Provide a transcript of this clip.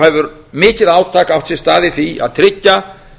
hefur mikið átak átt sér stað í því að tryggja